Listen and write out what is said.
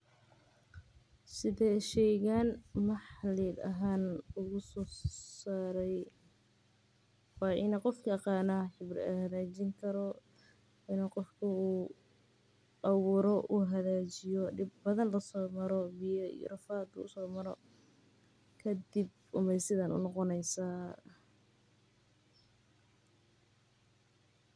Sidhee shaygan maxalli ahaan u soo saaray, wa in gofki agaana una xagaajinkaro, wa in gofku uu awiro u xagajiyo, dib badan lasomaro biya iyo rafad u somaroo, kadib umay sidhan unogoneysaa.